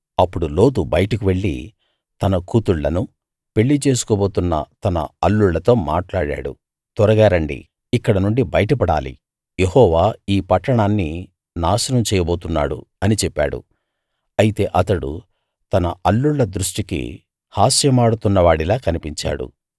అప్పుడు లోతు బయటకు వెళ్ళి తన కూతుళ్ళను పెళ్లి చేసుకోబోతున్న తన అల్లుళ్ళతో మాట్లాడాడు త్వరగా రండి ఇక్కడినుండి బయట పడాలి యెహోవా ఈ పట్టణాన్ని నాశనం చేయబోతున్నాడు అని చెప్పాడు అయితే అతడు తన అల్లుళ్ళ దృష్టికి హాస్యమాడుతున్నవాడిలా కనిపించాడు